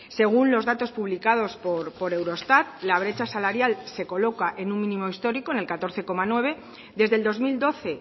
según los datos publicados por eurostat la brecha salarial se coloca en un mínimo histórico en el catorce coma nueve desde el dos mil doce